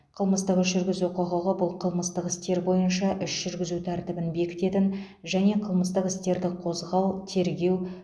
қылмыстық іс жүргізу құқығы бұл қылмыстық істер бойынша іс жүргізу тәртібін бекітетін және қылмыстық істерді қозғау тергеу